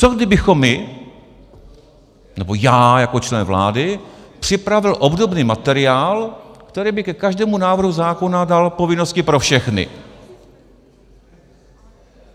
Co kdybychom my, nebo já jako člen vlády připravil obdobný materiál, který by ke každému návrhu zákona dal povinnosti pro všechny?